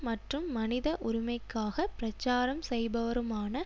மற்றும் மனித உரிமைக்காக பிரச்சாரம் செய்பவருமான